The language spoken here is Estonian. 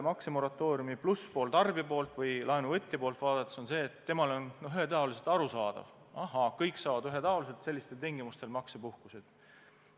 Maksemoratooriumi plusspool tarbija poolt või laenuvõtja poolt vaadates on see, et temale on ühetaoliselt arusaadav, et ahhaa, kõik saavad ühetaoliselt sellistel tingimustes maksepuhkust.